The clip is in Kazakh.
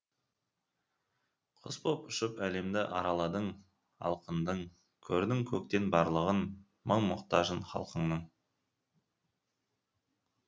құс боп ұшып әлемді араладың алқындың көрдің көктен барлығын мұң мұқтажын халқыңның